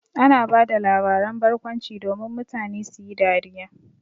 Ana ba da labaran barkwanci domin mutane su yi dariya.